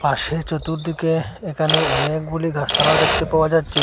পাশে চতুর্দিকে এখানে অনেকগুলি গাসপালাও দেখতে পাওয়া যাচ্ছে।